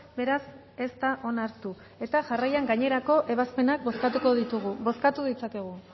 beraz ez da onartu eta jarraian gainerako ebazpenak bozkatuko ditugu bozkatu ditzakegu